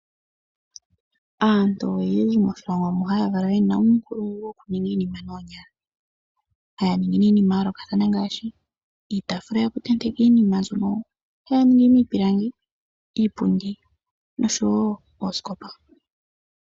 Aantu oyendji moshilongo mu haya kala yena uunkulungu woku ninga iinima noonyala haya ningi iinima ya yoolokathana ngaashi iitafula yoku tenteka iinima mbyono haya ningi miipilangi iipundi noosikopa.